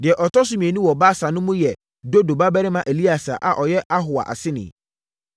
Deɛ ɔtɔ so mmienu wɔ Baasa no mu no yɛ Dodo babarima Eleasa a ɔyɛ Ahoa aseni.